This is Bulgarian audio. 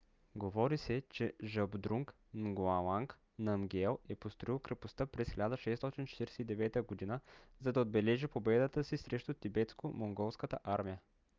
говори се че жабдрунг нгауанг намгиел е построил крепостта през 1649 г. за да отбележи победата си срещу тибетско-монголската армия